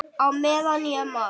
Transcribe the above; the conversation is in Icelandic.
Á meðan ég man.